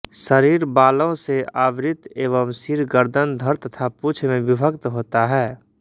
शरीर बालों से आवृत एवं सिर गर्दन धड़ तथा पूँछ में विभक्त होता है